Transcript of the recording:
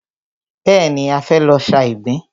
Bẹ́ẹ̀ni, a fẹ́ lọ sa ìgbín.